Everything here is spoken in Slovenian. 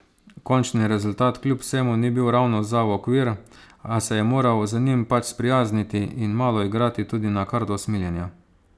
Končni rezultat kljub vsemu ni bil ravno za v okvir, a se je moral z njim pač sprijazniti in malo igrati tudi na karto usmiljenja.